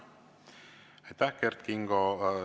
Aitäh, Kert Kingo!